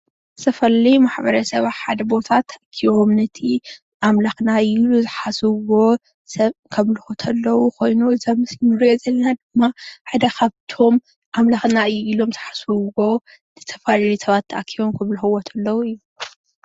ዝተፈላለዩ ማሕበረሰብ ኣብ ሓደ ቦታ ተኣኪቦም ነቲ ኣምላክና እዩ ኢሎም ዝሓስብዎ ሰብ ከምልኩ እነተለዉ ኮይኑ እዚ ኣብ ምስሊ እንሪኦ ዘለና ድማ ሓደ ካብቶም አምላክና እዩ ኢሎም ዝሓስብዎ ዝተፈላለዩ ሰባት ተኣኪቦም እንተምልክዎ እንተለዉ እዩ፡፡